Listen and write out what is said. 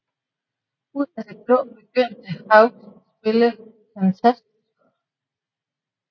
Ud af det blå begyndte Hawks at spille fantastisk godt